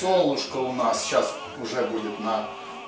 солнышко у нас сейчас уже будет на